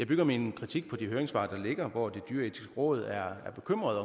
bygger min kritik på de høringssvar der ligger hvor det dyreetiske råd er bekymret